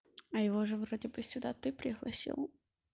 а его же вроде бы сюда ты пригласил